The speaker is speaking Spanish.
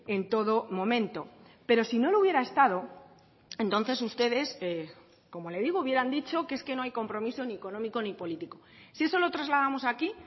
en todo momento pero si no lo hubiera estado entonces ustedes como le digo hubieran dicho que es que no hay compromiso ni económico ni político si eso lo trasladamos aquí